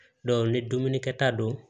ni dumunikɛta don